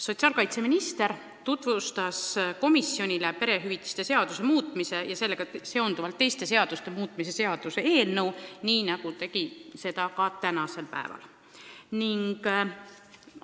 Sotsiaalkaitseminister tutvustas komisjonile perehüvitiste seaduse muutmise ja sellega seonduvalt teiste seaduste muutmise seaduse eelnõu, nii nagu tegi seda ka täna siin saalis.